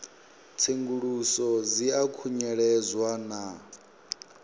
tsenguluso dzi a khunyeledzwa na